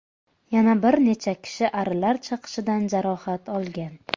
Yana bir necha kishi arilar chaqishidan jarohat olgan.